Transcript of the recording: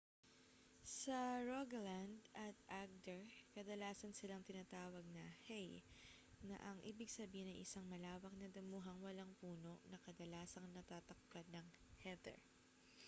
sa rogaland at agder kadalasan silang tinatawag na hei na ang ibig sabihin ay isang malawak na damuhang walang puno na kadalasang natatakpan ng heather